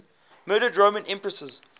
murdered roman empresses